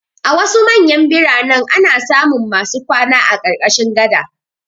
A wasu manyan biranen ana samun masu kwana a ƙarƙashin gada.